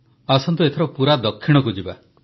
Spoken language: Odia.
ଆସନ୍ତୁ ଏଥର ପୁରା ଦକ୍ଷିଣକୁ ଯିବା